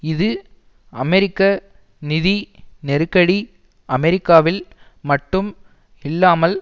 இது அமெரிக்க நிதி நெருக்கடி அமெரிக்காவில் மட்டும் இல்லாமல்